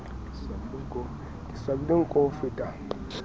ke swabile nko ho feta